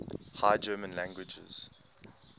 high german languages